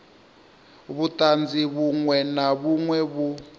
vhuṱanzi vhuṅwe na vhuṅwe vhu